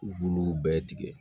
U b'olu bɛɛ tigɛ